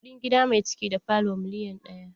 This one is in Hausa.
Kuɗin gida mai ciki da falo miliyan ɗaya.